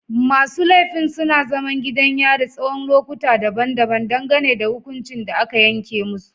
Masu laifin suna zaman gidan yari tsawon lokuta daban-daban dangane da hukuncin da aka yanke musu.